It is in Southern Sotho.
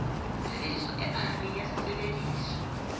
tshebediso e phahameng ya sesebediswa